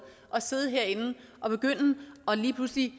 at sidde herinde og lige pludselig